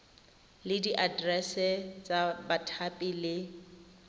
le diaterese tsa bathapi le